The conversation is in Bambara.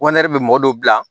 bɛ mɔgɔ dɔw bila